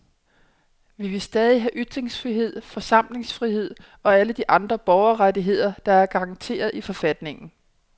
Vi vil stadig have ytringsfrihed, forsamlingsfrihed og alle de andre borgerrettigheder, der er garanteret i forfatningen.